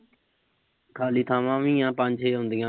ਖਾਲੀ ਥਾਵਾਂ ਵੀ ਆ। ਪੰਜ-ਛੇ ਹੁੰਦੀਆਂ।